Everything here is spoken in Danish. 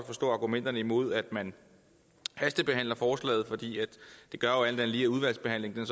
forstå argumenterne imod at man hastebehandler forslaget for det gør jo alt andet lige at udvalgsbehandlingen